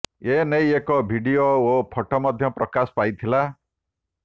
ଏ ନେଇ ଏକ ଭିଡିଓ ଓ ଫଟୋ ମଧ୍ୟ ପ୍ରକାଶ ପାଇଥିଲା